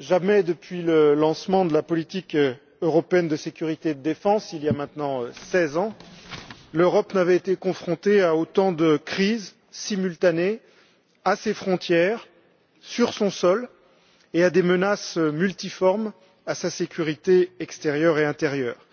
jamais depuis le lancement de la politique européenne de sécurité et de défense commune, il y a maintenant 16 ans, l'Europe n'avait été confrontée à autant de crises simultanées à ses frontières et sur son sol, ainsi qu'à des menaces multiformes contre sa sécurité extérieure et intérieure